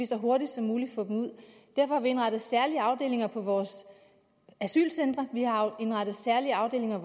så hurtigt som muligt derfor har vi indrettet særlige afdelinger på vores asylcentre vi har indrettet særlige afdelinger